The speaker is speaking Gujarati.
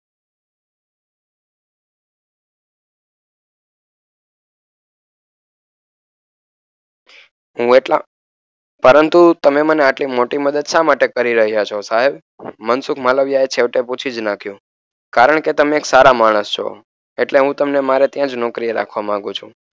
હું એટલા પરંતુ તમે મને આટલી મોટી મદદ શામાટે કરી રહ્યા છો સાહેબ મનસુખ માલવિયાએ છેવટે પૂછી જ નાખ્યું કારણ કે તમે એક સારા માણસ છો એટલે હું તમને મારે ત્યાં જ નોકરીએ રાખવા માંગુ છું